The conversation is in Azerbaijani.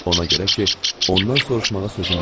Ona görə ki, ondan soruşmağa sözüm yoxdur.